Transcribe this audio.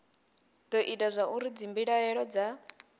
do ita zwauri dzimbilaelo dza